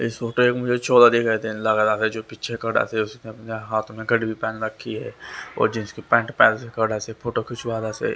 इस फोटो एक मुझे छोरा दिखाई देने लगा जो पीछे खड़ा से उसने अपने हाथ में एक घड़ी भी पहन रखी है और जींस की पेंट पहन के खड़ा से फोटो खिंचवा रहा से।